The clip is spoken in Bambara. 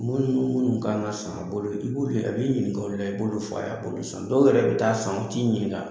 O ninnu munu kan ka san a bolo, i b'o ɲininka, i b'o f'a ye, dɔw yɛrɛ bɛ taa san u t'i ɲininka!